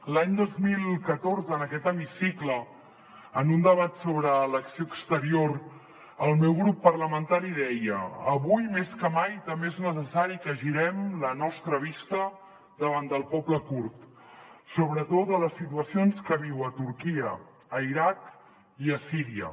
l’any dos mil catorze en aquest hemicicle en un debat sobre l’acció exterior el meu grup parlamentari deia avui més que mai també és necessari que girem la nostra vista davant del poble kurd sobre totes les situacions que viu a turquia a l’iraq i a síria